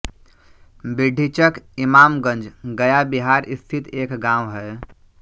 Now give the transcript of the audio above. बिड्ढीचक इमामगंज गया बिहार स्थित एक गाँव है